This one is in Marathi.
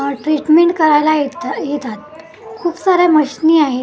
अ ट्रिटमेंट करायला इथं येतात खूप साऱ्या मशिनी आहेत.